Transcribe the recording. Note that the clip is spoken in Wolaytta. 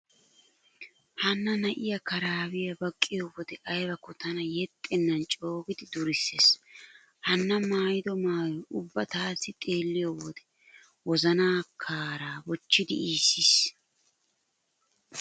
Hanna na'iya karaabiya baqqiyo wode aybakko tana yexxennan coogidi durissees. Hanna maayido maayoy ubba taassi xeelliyo wode wozanaa kaaraa bochchidi iissiis.